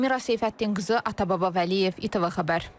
Elmira Seyfəddinqızı, Atababa Vəliyev, ITV Xəbər.